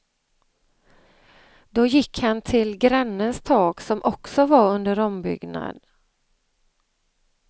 Då gick han till grannens tak som också var under ombyggnad.